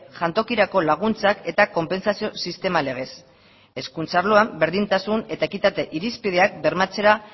jantokirako laguntzak eta konpentsazio sistema legez hezkuntza arloan berdintasun eta ekitate irizpideak bermatzera